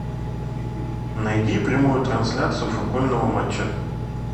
найди прямую трансляцию футбольного матча